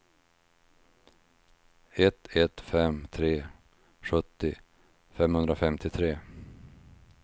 ett ett fem tre sjuttio femhundrafemtiotre